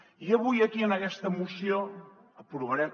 i avui aquí en aquesta moció aprovarem